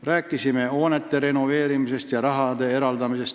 Rääkisime hoonete renoveerimisest ja selleks raha eraldamisest.